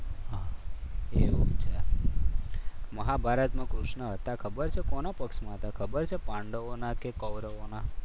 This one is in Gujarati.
એવું છે? મહાભારતમાં કૃષ્ણ હતા. ખબર છે કોના પક્ષમાં હતા? ખબર છે પાંડવોના કે કૌરવોના?